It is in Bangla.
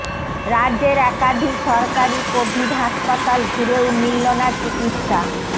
রাজ্যের একাধিক সরকারি কোভিড হাসপাতাল ঘুরেও মিলল না চিকিৎসা